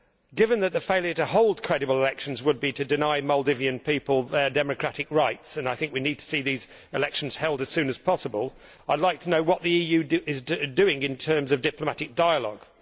Given that the failure to hold credible elections would be to deny Maldivian people their democratic rights and I think we need to see these elections held as soon as possible I would like to know what the EU is doing in terms of diplomatic dialogue.